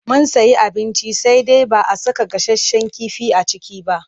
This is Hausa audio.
Mun sayi abinci sai dai ba a saka gasasshen kifi a ciki ba.